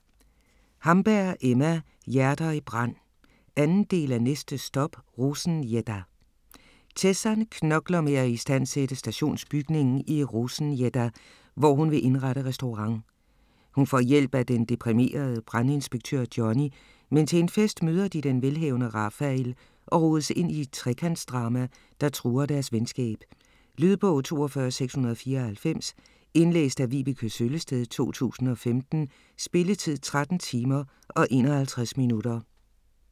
Hamberg, Emma: Hjerter i brand 2. del af Næste stop Rosengädda!. Tessan knokler med at istandsætte stationsbygningen i Rosengädda, hvor hun vil indrette restaurant. Hun får hjælp af den deprimerede brandinspektør Johnny, men til en fest møder de den velhavende Rafael og rodes ind i et trekantsdrama, der truer deres venskab. Lydbog 42694 Indlæst af Vibeke Søllested, 2015. Spilletid: 13 timer, 51 minutter.